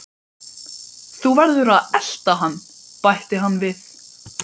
Þú verður að elta hann bætti hann við.